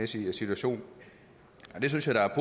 situation det synes jeg da